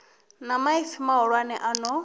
na maipfi mahulwane a no